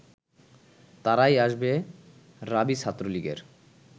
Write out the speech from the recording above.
তারাই আসবে রাবি ছাত্রলীগের